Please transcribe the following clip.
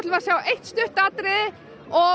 að sjá eitt stutt atriði og